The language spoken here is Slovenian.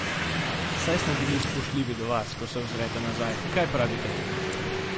Saj smo bili spoštljivi do vas, ko se ozrete nazaj, kaj pravite?